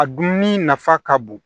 A dunni nafa ka bon